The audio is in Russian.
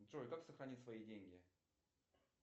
джой как сохранить свои деньги